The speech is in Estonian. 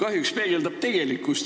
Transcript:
kahjuks peegeldab tegelikkust.